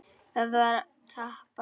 Það var að tapa.